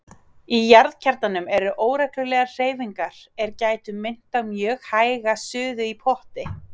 Í jarðkjarnanum eru óreglulegar hreyfingar er gætu minnt á mjög hæga suðu í potti.